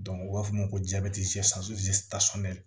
u b'a fɔ o ma ko